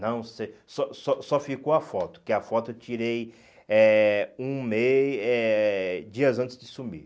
Não sei, só só só ficou a foto, que a foto eu tirei eh um mês, eh dias antes de sumir. Não sei